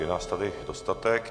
Je nás tady dostatek.